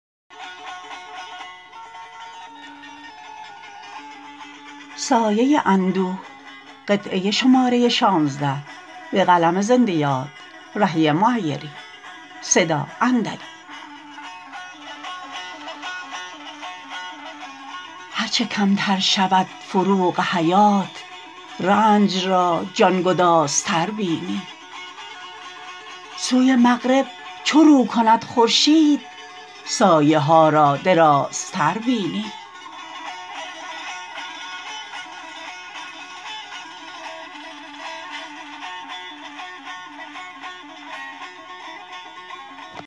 هرچه کمتر شود فروغ حیات رنج را جان گدازتر بینی سوی مغرب چو رو کند خورشید سایه ها را درازتر بینی